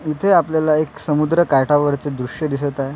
इथे आपल्याला एक समुद्रकाठावरच दृश्य दिसत आहे.